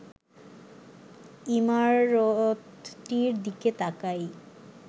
ইমারতটির দিকে তাকাই